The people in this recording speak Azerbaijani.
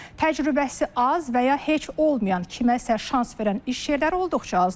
Təcrübəsi az və ya heç olmayan kiməsə şans verən iş yerləri olduqca azdır.